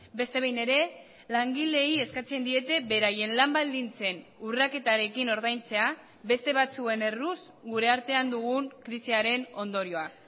beste behin ere langileei eskatzen diete beraien lan baldintzen urraketarekin ordaintzea beste batzuen erruz gure artean dugun krisiaren ondorioa